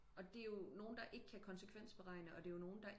Og det er jo nogen der ikke kan konsekvensberegning og det er jo nogen der